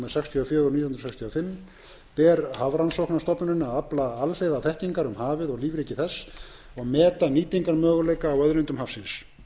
í þágu atvinnuveganna ber hafrannsóknastofnuninni að afla alhliða þekkingar um hafið og lífríki þess og meta nýtingarmöguleika á auðlindum hafsins